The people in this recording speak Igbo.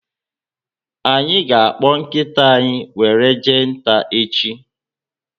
Anyị ga akpọ nkịta anyị were jee nta echi